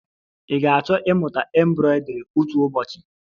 Ị ga-achọ ịmụta embroidri otu ụbọchị?